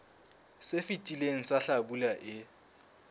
se fetileng sa hlabula e